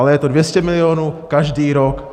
Ale je to 200 milionů každý rok.